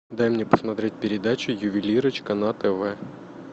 дай мне посмотреть передачу ювелирочка на тв